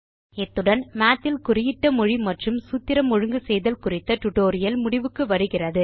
இத்துடன் மாத் இல் குறியிட்ட மொழி மற்றும் சூத்திரம் ஒழுங்கு செய்தல் குறித்த டியூட்டோரியல் முடிவுக்கு வருகிறது